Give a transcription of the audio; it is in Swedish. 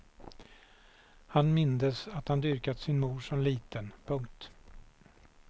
Han mindes att han dyrkat sin mor som liten. punkt